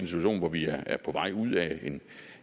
situation hvor vi er på vej ud af en